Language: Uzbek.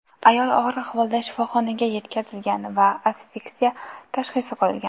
Ayol og‘ir ahvolda shifoxonaga yetkazilgan va asfiksiya tashxisi qo‘yilgan.